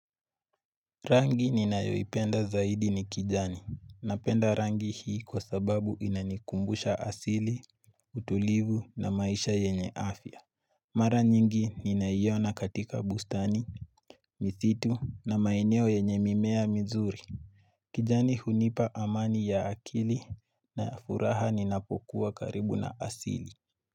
Rangi ninayoipenda zaidi ni kijani. Napenda rangi hii kwa sababu inanikumbusha asili, utulivu na maisha yenye afya. Mara nyingi ninaiona katika bustani, misitu na maeneo yenye mimea mizuri. Kijani hunipa amani ya akili na furaha ninapokuwa karibu na asili.